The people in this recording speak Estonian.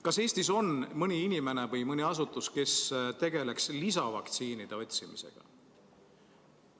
Kas Eestis on mõni inimene või mõni asutus, kes tegeleks lisavaktsiinide otsimisega?